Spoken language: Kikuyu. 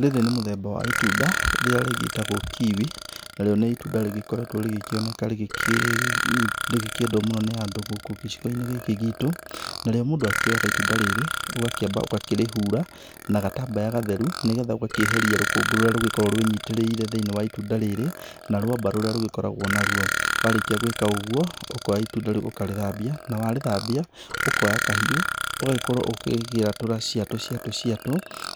Rĩrĩ nĩ mũthemba wa ĩtunda rĩrĩa rĩgĩtagwo kiwi narĩo nĩ ĩtunda rĩgĩkoretwo rĩgĩkioneka rĩgĩkĩendwo mũno nĩ andũ gũkũ gĩcigo-inĩ gĩkĩ gitũ. Narĩo mũndũ akioyaga ĩtunda rĩrĩ ũgakĩamba ũgakĩrĩhura na gatambaya gatheru nĩgetha ũgakĩeheria rũkũngũ rũrĩa rũgĩkoragwo rwĩnyitĩrĩire thĩiniĩ wa ĩtunda rĩrĩ na rwamba rũrĩa rĩgĩkoragwo naruo, warĩkia gwĩka ũguo ũkoya ĩtunda rĩu ũkarĩthambia na warĩthambia ũkoya kahiũ ũgagĩkorwo ũkũrĩatũra cĩatũ cĩatũ